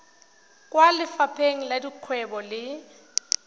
kwa lefapheng la dikgwebo le